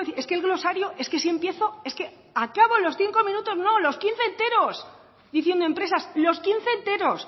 es que el glosario es que si empiezo es que acabo los cinco minutos no los quince enteros diciendo empresas los quince enteros